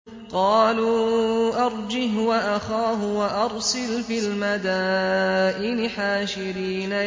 قَالُوا أَرْجِهْ وَأَخَاهُ وَأَرْسِلْ فِي الْمَدَائِنِ حَاشِرِينَ